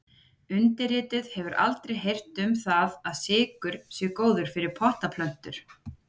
Undirrituð hefur aldrei heyrt um það að sykur sé góður fyrir pottaplöntur.